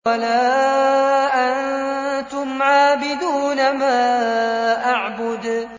وَلَا أَنتُمْ عَابِدُونَ مَا أَعْبُدُ